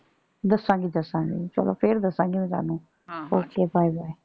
ਦਸਾਂਗੀ ਦਸਾਂਗੀ ਚੱਲੋ ਫੇਰ ਦਸਾਂਗੀ ਮੈਂ ਤੁਹਾਨੂੰ ਹਾ okay bye bye